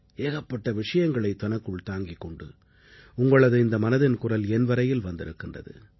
ஏகப்பட்ட விஷயங்களை தனக்குள் தாங்கிக் கொண்டு உங்களது இந்த மனதின் குரல் என் வரையில் வந்திருக்கின்றது